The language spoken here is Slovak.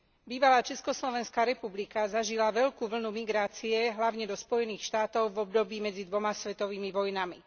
Bývalá Československá republika zažila veľkú vlnu migrácie hlavne do Spojených štátov v období medzi dvoma svetovými vojnami.